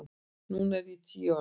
Núna er ég tíu ára.